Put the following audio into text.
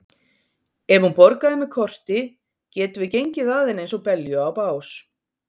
Ef hún borgaði með korti getum við gengið að henni eins og belju á bás.